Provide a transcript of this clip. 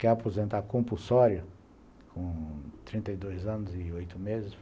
Quer aposentar compulsório, com trinta e dois anos e oito meses?